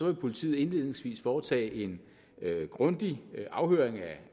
vil politiet indledningsvis foretage en grundig afhøring af